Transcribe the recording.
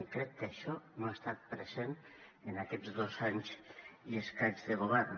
i crec que això no ha estat present en aquests dos anys i escaig de govern